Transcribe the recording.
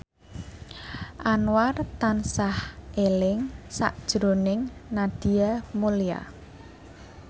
Anwar tansah eling sakjroning Nadia Mulya